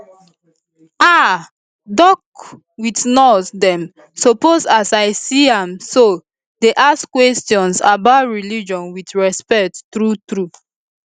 ah doc with nurse dem suppose as i see am so dey ask questions about religion with respect true true